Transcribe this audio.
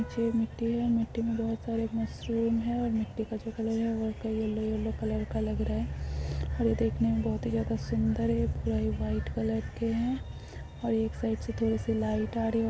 मिट्टी में बहुत सारे मशरूम है मिट्टी का जो कलर है जो यलो -यलो कलर का लग रहा है हर तरफ बहुत ही ज्यादा सुंदर और वाइट कलर के है और एक साइड से लाइट आ रही है।